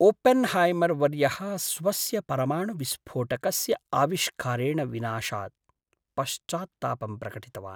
ओपेन्हैमर्वर्यः स्वस्य परमाणुविस्फोटकस्य आविष्कारेण विनाशात् पश्चात्तापं प्रकटितवान्।